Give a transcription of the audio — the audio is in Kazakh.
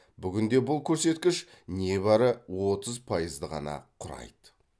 бүгінде бұл көрсеткіш небәрі отыз пайызды ғана құрайды